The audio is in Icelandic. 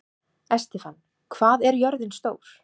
Estefan, hvað er jörðin stór?